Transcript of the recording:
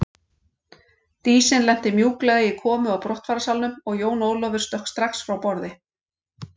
Dísin lenti mjúklega í komu og brottfararsalnum og Jón Ólafur stökk strax frá borði.